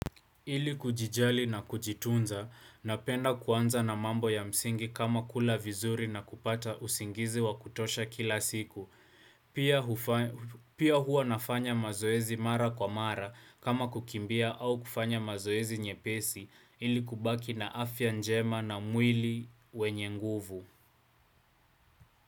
Ili kujijali na kujitunza napenda kuanza na mambo ya msingi kama kula vizuri na kupata usingizi wa kutosha kila siku. Pia hua nafanya mazoezi mara kwa mara kama kukimbia au kufanya mazoezi nyepesi ili kubaki na afya njema na mwili wenye nguvu.